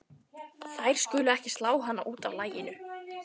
Þær skulu ekki slá hana út af laginu.